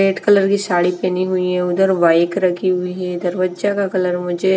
red colour की साड़ी पहनी हुई है उधर वाइक रखी हुई है इधर वज्जा का कलर मुझे --